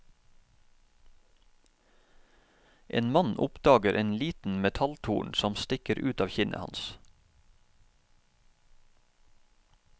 En mann oppdager en liten metalltorn som stikker ut av kinnet hans.